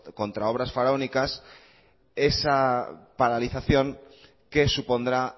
contra obras faraónicas esa paralización qué supondrá